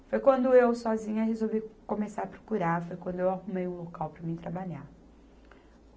Foi quando eu sozinha resolvi começar a procurar, foi quando eu arrumei um local para mim trabalhar.